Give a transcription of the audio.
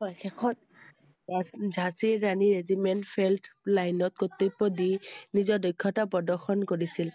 হয়i শেষত Jhansi Rani regiment felt line ত কৰ্তব্য় দি নিজৰ দক্ষতা প্ৰদৰ্শন কৰিছিল